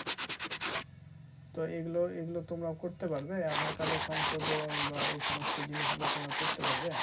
তো এগুলোর এগুলো তোমরা করতে পারবে aadhar card এর সংশোধন বা এই সমস্ত জিনিসগুলো তোমরা করতে পারবে